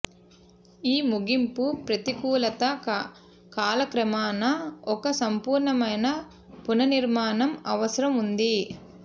ఈ ముగింపు ప్రతికూలత కాలక్రమాన ఒక సంపూర్ణమైన పునర్నిర్మాణం అవసరం ఉంది